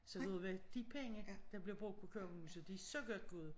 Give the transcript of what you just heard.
Så ved du hvad de penge der bliver brugt på kongehuset de er så godt givet ud